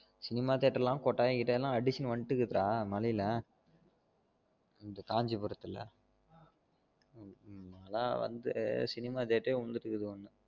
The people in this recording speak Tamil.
Cinema theater லாம் கோட்டயம் கிட்டாயம் லாம் அடிச்சின்னு வண்டு இருக்கு டா மலையில காஞ்சிபுரத்துல நான் லாம் வந்து cinema theater வந்துட்டு இருக்குது